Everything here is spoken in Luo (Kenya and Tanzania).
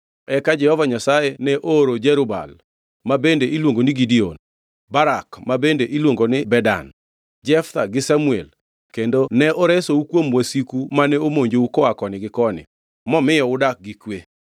Eka Jehova Nyasaye ne ooro Jerub-Baal (ma bende iluongo ni Gideon), Barak (ma bende iluongo ni Bedan), Jeftha gi Samuel, kendo ne oresou kuom wasiku mane omonjou koa koni gi koni, momiyo udak gi kwe.